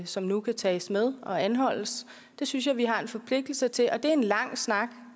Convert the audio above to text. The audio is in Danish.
som nu kan tages med og anholdes det synes jeg vi har en forpligtelse til at det er en lang snak